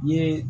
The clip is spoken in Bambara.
N ye